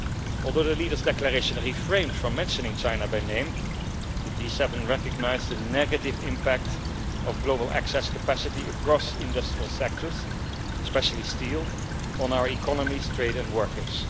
Although the leaders' declaration refrained from mentioning China by name, the G7 recognised the negative impact of global access capacity across industrial sectors, especially steel, on our economies, trade and workers.